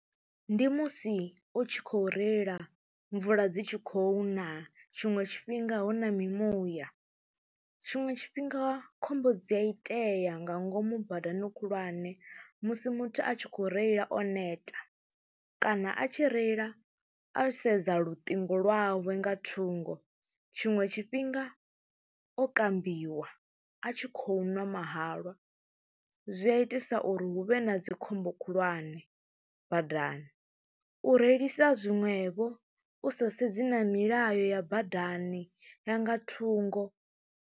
Ndi musi u tshi khou reila mvula dzi tshi khou na, tshiṅwe tshifhinga hu na mimuya, tshiṅwe tshifhinga khombo dzi a itea nga ngomu badani khulwane musi muthu a tshi khou reila o neta kana a tshi reila o sedza luṱingo lwawe nga thungo. Tshiṅwe tshifhinga o kambiwa, a tshi khou ṅwa mahalwa, zwi zwi a itisa uri hu vhe na dzi khombo khulwane badani, u reilisa zwiṅwevho u sa sedzi na milayo ya badani ya nga thungo.